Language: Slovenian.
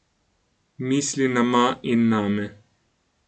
Misli na Ma in name.